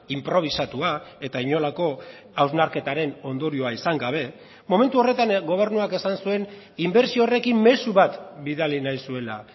inprobisatua eta inolako hausnarketaren ondorioa izan gabe momentu horretan gobernuak esan zuen inbertsio horrekin mezu bat bidali nahi zuela